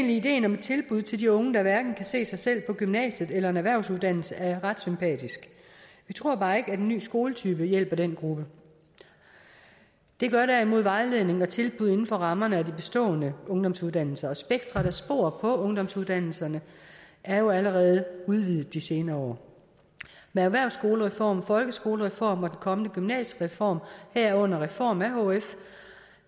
at ideen om et tilbud til de unge der hverken kan se sig selv på gymnasiet eller i en erhvervsuddannelse er ret sympatisk vi tror bare ikke at en ny skoletype hjælper den gruppe det gør derimod vejledning og tilbud inden for rammerne af de bestående ungdomsuddannelser og spektret af spor på ungdomsuddannelserne er jo allerede udvidet i de senere år med erhvervsskolereform folkeskolereform og den kommende gymnasiereform herunder reformen af hf